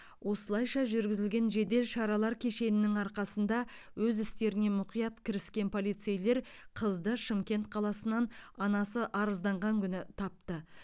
осылайша жүргізілген жедел шаралар кешенінің арқасында өз істеріне мұқият кіріскен полицейлер қызды шымкент қаласынан анасы арызданған күні тапты